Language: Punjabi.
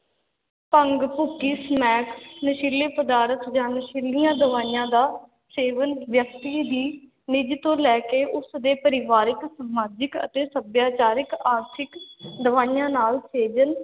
ਭੰਗ, ਭੁੱਕੀ, ਸਮੈਕ ਨਸ਼ੀਲੇ ਪਦਾਰਥ ਜਾਂ ਨਸ਼ੀਲੀਆਂ ਦਵਾਈਆਂ ਦਾ ਸੇਵਨ ਵਿਅਕਤੀ ਦੀ ਨਿੱਜ ਤੋਂ ਲੈ ਕੇ ਉਸ ਦੇ ਪਰਿਵਾਰਕ, ਸਮਾਜਿਕ ਅਤੇ ਸਭਿਆਚਾਰਕ, ਆਰਥਿਕ ਦਵਾਈਆਂ ਨਾਲ ਸੇਜਨ